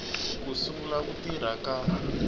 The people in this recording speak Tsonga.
ko sungula ku tirha ka